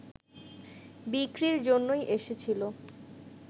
বিক্রির জন্যই এসেছিল